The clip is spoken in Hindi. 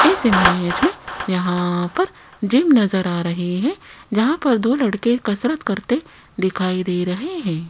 इस इमेज में यहां पर जिम नजर आ रही है जहां पर दो लड़के कसरत करते दिखाई दे रहे है।